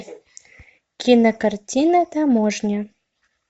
кинокартина таможня